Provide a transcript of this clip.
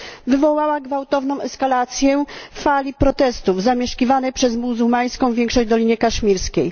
wywołała gwałtowną eskalację fali protestów zamieszkiwanej przez muzułmańską większość Dolinie Kaszmirskiej.